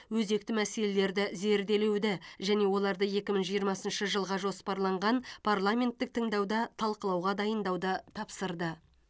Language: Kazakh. өзекті мәселелерді зерделеуді және оларды екі мың жиырмасыншы жылға жоспарланған парламенттік тыңдауда талқылауға дайындауды тапсырды